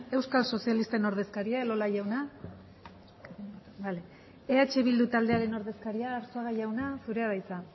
euskal sozialisten ordezkaria elola jauna bale eh bildu taldearen ordezkaria arzuaga jauna zurea da hitza